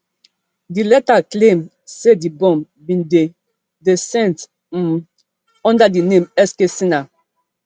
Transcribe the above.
di letter claim say di bomb bin dey dey sent um under di name sk sinha